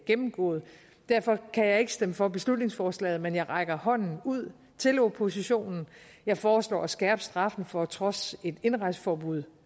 gennemgået derfor kan jeg ikke stemme for beslutningsforslaget men jeg rækker hånden ud til oppositionen jeg foreslår at skærpe straffen for at trodse et indrejseforbud